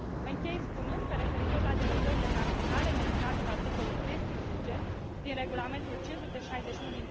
Închei, spunând că, referitor la derogările naționale menționate la articolul 13 din Regulamentul nr. 561